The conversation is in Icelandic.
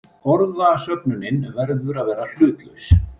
Orðasöfnunin verður að vera hlutlaus.